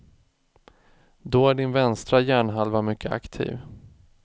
Då är din vänstra hjärnhalva mycket aktiv.